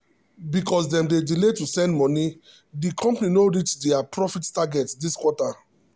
because dem delay to send money the company no reach their profit target this quarter.